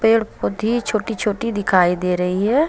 छोटी छोटी दिखाई दे रही है।